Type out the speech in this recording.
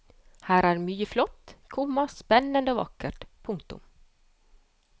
Her er mye flott, komma spennende og vakkert. punktum